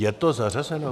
Je to zařazeno?